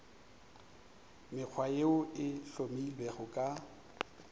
mekgwa yeo e hlomilwego ka